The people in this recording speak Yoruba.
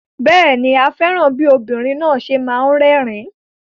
Bẹ́ẹ̀ ni, a fẹ́ràn bí obìnrin náà ṣe máa ń rẹ́rìn-ín.